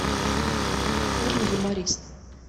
фильм юморист